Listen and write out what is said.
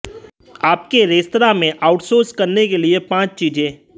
आपके रेस्तरां में आउटसोर्स करने के लिए पांच चीजें